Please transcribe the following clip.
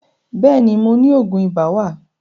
Bẹ́ẹ̀ni, mo ni Ògùn ibà wà